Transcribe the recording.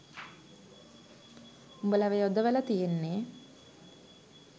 උඹලව යොදවල තියෙන්නේ